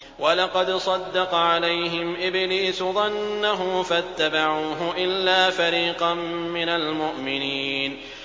وَلَقَدْ صَدَّقَ عَلَيْهِمْ إِبْلِيسُ ظَنَّهُ فَاتَّبَعُوهُ إِلَّا فَرِيقًا مِّنَ الْمُؤْمِنِينَ